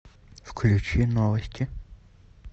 включи новости